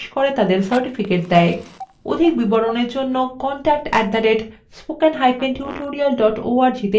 অধিক বিবরণের জন্য contact @spokentutorial org তে ইমেল করুন